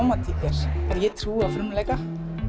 ég trúi á frumleika